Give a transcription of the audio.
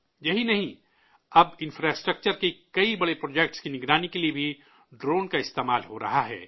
یہی نہیں، اب انفراسٹرکچر کے کئی بڑے پروجیکٹ کی نگرانی کے لیے بھی ڈرون کا استعمال ہو رہا ہے